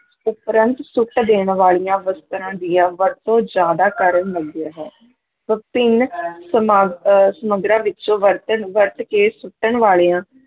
ਉਪਰੰਤ ਸੁੱਟ ਦੇਣ ਵਾਲੀਆਂ ਵਸਤਾਂ ਦੀਆਂ ਵਰਤੋਂ ਜ਼ਿਆਦਾ ਕਰਨ ਲੱਗਿਆ ਹੈ ਵਿਭਿੰਨ ਸਮਾਗ ਅਹ ਸਮਗਰਾਂ ਵਿੱਚੋਂ ਵਰਤਣ ਵਰਤ ਕੇ ਸੁੱਟਣ ਵਾਲਿਆਂ